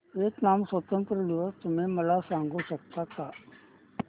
Vietnam स्वतंत्रता दिवस तुम्ही मला सांगू शकता का